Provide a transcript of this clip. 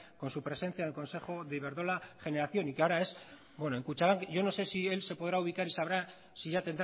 con su presencia en el consejo de iberdrola generación y que ahora es bueno en kutxabank yo no sé si él se podrá ubicar y sabrá si ya